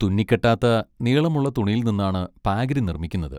തുന്നിക്കെട്ടാത്ത നീളമുള്ള തുണിയിൽ നിന്നാണ് പാഗ്രി നിർമ്മിക്കുന്നത്.